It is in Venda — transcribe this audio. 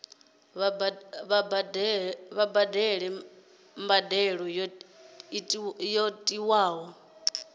vha badele mbadelo yo tiwaho